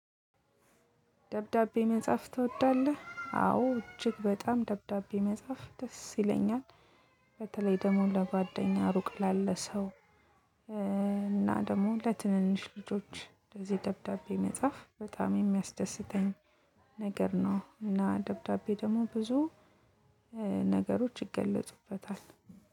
ደብዳቤ መጻፍ ትወዳለህ? አዎ እጅግ በጣም ደብዳቤ መጻፍ ደስ ይለኛል በተለይ ደግሞ ለጓደኛ ሩቅ ላለ ሰው እና ደግሞ ለትንንሽ ልጆች እንደዚህ ደብዳቤ መጻፍ በጣም የሚያስደስተኝ ነገር ነው። እና ደብዳቤ ደግሞ ብዙ ነገሮች ይገለጹበታል